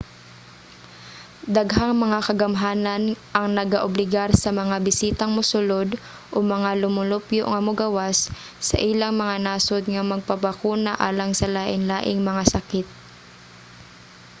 daghang mga kagamhanan ang nagaobligar sa mga bisitang mosulod o mga lumulupyo nga mogawas sa ilang mga nasod nga magpabakuna alang sa lainlaing mga sakit